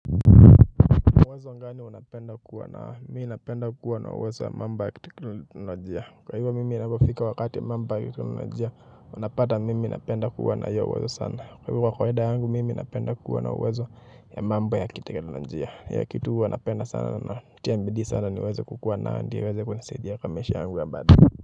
Uwezo gani unapenda kuwa nao? Mi napenda kuwa na uwezo wa mambo ya teknolojia. Kwa hivyo mimi inapofika wakati wa mambo ya kiteknolojia, unapata mimi napenda kuwa na hio uwezo sana. Kwa hivyo kwa kawaida yangu mimi napenda kuwa na uwezo ya mambo ya kiteknolojia. Ya kitu huwa napenda sana na natia bidii sana niweze kukuwa na hadi iweze kunisaidia kwa maisha yangu ya baadae.